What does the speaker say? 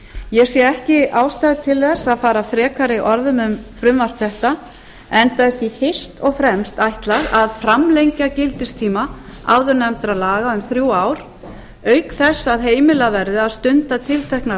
ég sé ekki ástæðu til þess að fara frekari orðum um frumvarp þetta enda er því fyrst og fremst ætlað að framlengja gildistíma áðurnefndra laga um þrjú ár auk þess að heimilað verði að stunda tilteknar